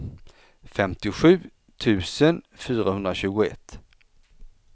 femtiosju tusen fyrahundratjugoett